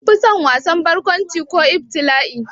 Kun fi son wasan barkwanci ko ibtila'i?